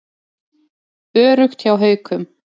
Öruggt hjá Haukum